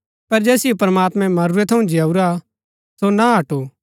पर जैसिओ प्रमात्मैं मरूरै थऊँ जिआऊरा सो ना हडु